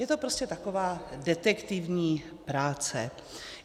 Je to prostě taková detektivní práce.